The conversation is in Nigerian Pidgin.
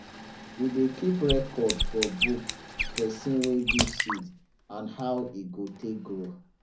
we dey keep record for book person wey give seed and how e go take grow